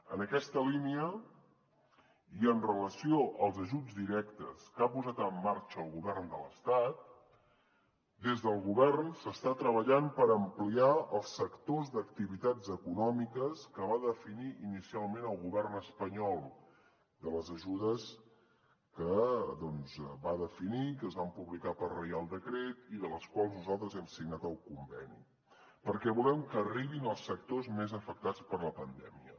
en aquesta línia i en relació amb els ajuts directes que ha posat en marxa el govern de l’estat des del govern s’està treballant per ampliar els sectors d’activitats econòmiques que va definir inicialment el govern espanyol de les ajudes que doncs va definir que es van publicar per reial decret i de les quals nosaltres hem signat el conveni perquè volem que arribin als sectors més afectats per la pandèmia